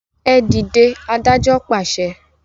e dìde, adájọ pàṣẹ.